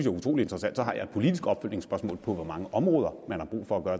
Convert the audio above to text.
er utrolig interessant så har jeg et politisk opfølgningsspørgsmål om hvor mange områder man har brug for at gøre